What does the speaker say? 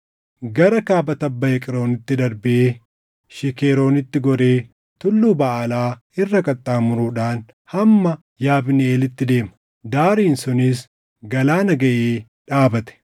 Gara kaaba tabba Eqroonitti darbee Shikeroonitti goree Tulluu Baʼaalaa irra qaxxaamuruudhaan hamma Yabniʼeelitti deema. Daariin sunis galaana gaʼee dhaabate.